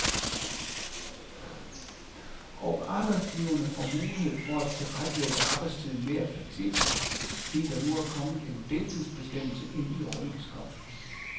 Og arbejdsgiverne får mulighed for at tilrettelægge arbejdstiden mere fleksibelt, fordi der nu er kommet en deltidsbestemmelse ind i overenskomsten.